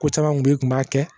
Ko caman kun bɛ yen tun b'a kɛ